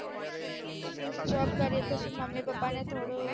job કરીએ તો સુ મમ્મી પાપા ને થોડું